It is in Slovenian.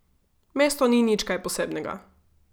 Mesto ni nič kaj posebnega.